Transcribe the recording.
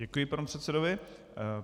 Děkuji panu předsedovi.